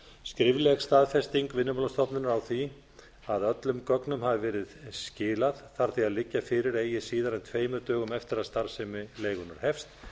skrifleg staðfesting vinnumálastofnunar á því að öllum gögnum hafi verið skilað þarf því að liggja fyrir eigi síðar en tveimur dögum eftir að starfsemi leigunnar hefst